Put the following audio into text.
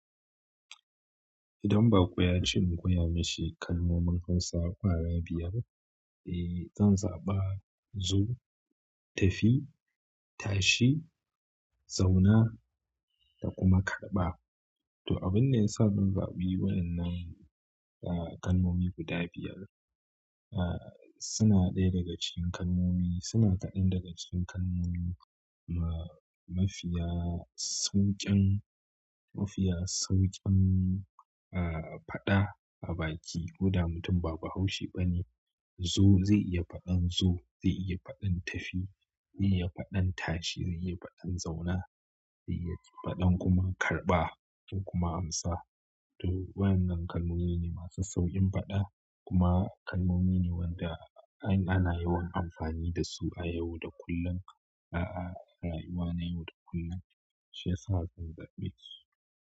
Idan ba ƙo ya ce in koya mashi kalmomin Hausa ƙwaya biyar, zan zaɓa zo, tafi, tashi, zauna da kuma karɓa. To, abunda ya sa zan zaɓu waƴannan m kalmomi guda biyar. Suna ɗaya daga cikin kalmomi, suna kaɗan daga cikin kalmomi mafiya sauƙin, mafiya sauƙin faɗa a baki. Koda mutum ba bahaushe bane. Zo zai iya faɗan zo, zai iya faɗan tafi, zai iya faɗan tashi, zai iya faɗan zauna, zai iya faɗan kuma karɓa in kuma amsa. To, waƴannan kalmomi ne masu sauƙin faɗa kuma kalmomi ne waɗanda an yi ana yawan amfani dasu a yau da kullum. Rayuwa na yau da kullum. Shi yasa zan zaɓe su.